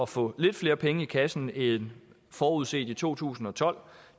få lidt flere penge i kassen end forudset i to tusind og tolv